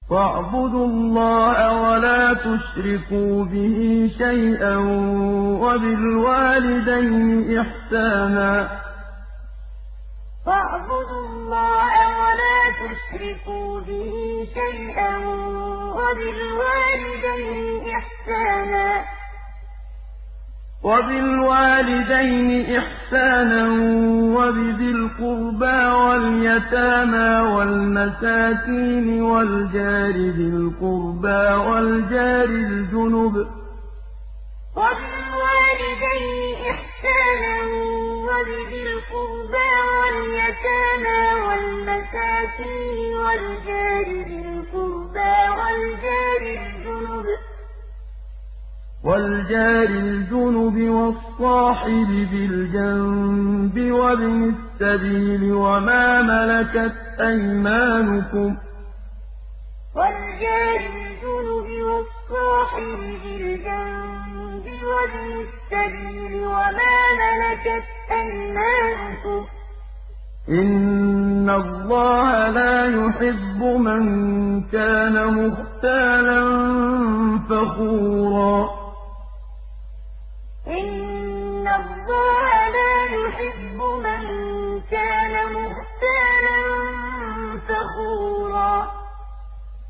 ۞ وَاعْبُدُوا اللَّهَ وَلَا تُشْرِكُوا بِهِ شَيْئًا ۖ وَبِالْوَالِدَيْنِ إِحْسَانًا وَبِذِي الْقُرْبَىٰ وَالْيَتَامَىٰ وَالْمَسَاكِينِ وَالْجَارِ ذِي الْقُرْبَىٰ وَالْجَارِ الْجُنُبِ وَالصَّاحِبِ بِالْجَنبِ وَابْنِ السَّبِيلِ وَمَا مَلَكَتْ أَيْمَانُكُمْ ۗ إِنَّ اللَّهَ لَا يُحِبُّ مَن كَانَ مُخْتَالًا فَخُورًا ۞ وَاعْبُدُوا اللَّهَ وَلَا تُشْرِكُوا بِهِ شَيْئًا ۖ وَبِالْوَالِدَيْنِ إِحْسَانًا وَبِذِي الْقُرْبَىٰ وَالْيَتَامَىٰ وَالْمَسَاكِينِ وَالْجَارِ ذِي الْقُرْبَىٰ وَالْجَارِ الْجُنُبِ وَالصَّاحِبِ بِالْجَنبِ وَابْنِ السَّبِيلِ وَمَا مَلَكَتْ أَيْمَانُكُمْ ۗ إِنَّ اللَّهَ لَا يُحِبُّ مَن كَانَ مُخْتَالًا فَخُورًا